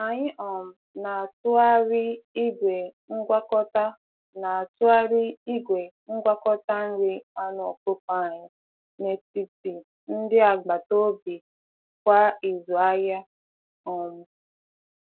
Anyị um na-atụgharị igwe ngwakọta na-atụgharị igwe ngwakọta nri anụ ọkụkọ anyị n'etiti ndị agbata obi kwa izu ahịa. um